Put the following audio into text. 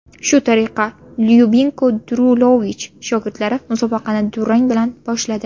Shu tariqa Lyubinko Drulovich shogirdlari musobaqani durang bilan boshladi.